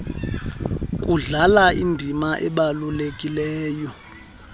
kudlala indima ebalulekileyo